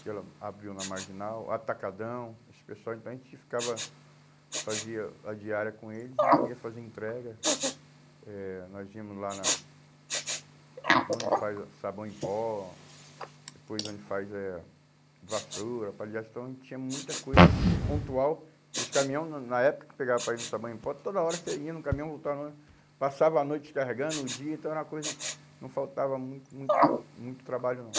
que ela abriu na Marginal, Atacadão, esse pessoal, então a gente ficava, fazia a diária com eles, então ia fazer entrega, eh nós íamos lá na na onde faz sabão em pó, depois onde faz eh vassoura, palhaço, então a gente tinha muita coisa pontual, que os caminhão, na na época que pegava para ir no sabão em pó, toda hora você ia no caminhão, voltava, passava a noite carregando, o dia, então era uma coisa, não faltava muito muito muito trabalho não.